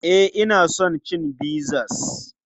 E, ina son cin pizzas.